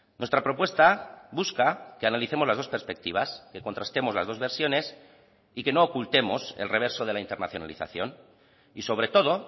nuestra propuesta busca que analicemos las dos perspectivas que contrastemos las dos versiones y que no ocultemos el reverso de la internacionalización y sobre todo